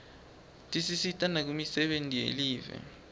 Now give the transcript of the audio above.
tisisita nakumisebenti yelive